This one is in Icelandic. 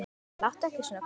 Láttu ekki svona, kona.